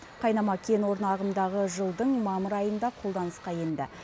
қайнама кен орны ағымдағы жылдың мамыр айында қолданысқа енді